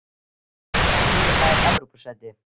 Hvaða lið nær Evrópusæti?